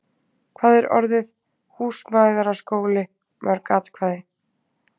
Hvað er orðið - Húsmæðraskóli - mörg atkvæði?